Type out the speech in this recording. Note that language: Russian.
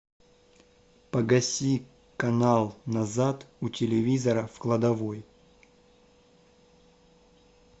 погаси канал назад у телевизора в кладовой